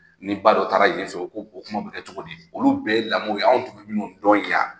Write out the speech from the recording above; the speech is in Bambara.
Ni ba dɔ taara yenfɛ o kuma tun bɛ kɛ cogo di olu bɛɛ ye lamɔ ye anw tun minnu dɔn yan.